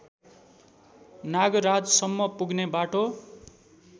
नागराजसम्म पुग्ने बाटो